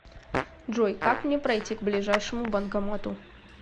джой как мне пройти к ближайшему банкомату